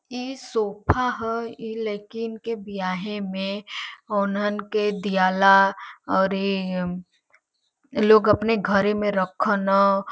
ई सोफा ह। इ लइकीन के बियाहे में ओन्हन के दियाला और ई लोग अपने घरे में रख न।